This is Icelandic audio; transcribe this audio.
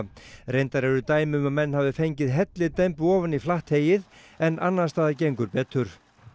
reyndar eru dæmi um að menn hafi fengið hellidembu ofan í flatt heyið en annars staðar gengur betur